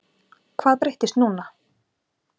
Hvað breyttist núna?